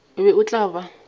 o be o tla ba